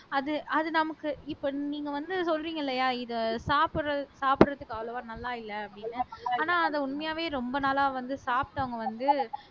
அது அது நமக்கு இப்ப நீங்க வந்து சொல்றீங்க இல்லையா இத சாப்பிடுறது சாப்பிடறதுக்கு அவ்வளவா நல்லா இல்ல அப்படின்னு ஆனா அது உண்மையாவே ரொம்ப நாளா வந்து சாப்பிட்டவங்க வந்து